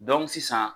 sisan